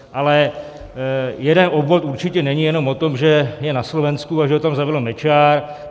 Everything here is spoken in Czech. Ale jeden obvod určitě není jenom o tom, že je na Slovensku a že ho tam zavedl Mečiar.